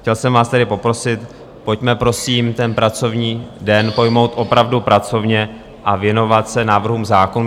Chtěl jsem vás tedy poprosit, pojďme prosím ten pracovní den pojmout opravdu pracovně a věnovat se návrhům zákonů.